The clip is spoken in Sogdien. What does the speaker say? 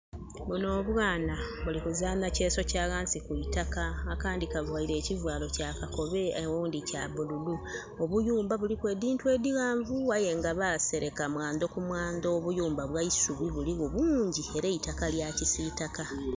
Bunho obwaana buli kuzaana kyeso kya ghansi ku itaka. Akandhi kavaile ekivaalo kya kakobe oghundi kya bululu. Obuyumba buliku edhintu edhighanvu aye nga basereka mwandho ku mwandho. Obuyumba bwa isubi buligho bungyi era eitaka lya kisiitaka.